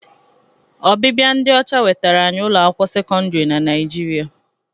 Ọbịbịa ndị ọcha wetara anyị ụlọ akwụkwọ sekọndịrị na Naịjirịa.